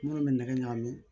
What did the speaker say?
Minnu bɛ nɛgɛ ɲagami